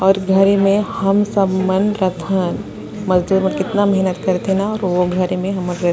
और घरे में हम सब मन रथन मजदूर मन कितना मेहनत कर थे न और वो घरे म हमर घर--